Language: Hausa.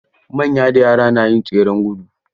Manya da yara na yin tseren gudu.